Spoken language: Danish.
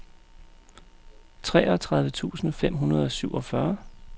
treogtredive tusind fem hundrede og syvogfyrre